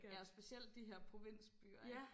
Ja og specielt de her provinsbyer ikke